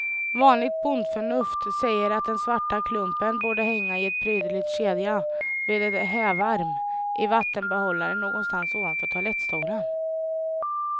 Vanligt bondförnuft säger att den svarta klumpen borde hänga i en prydlig kedja vid en hävarm i vattenbehållaren, någonstans ovanför toalettstolen.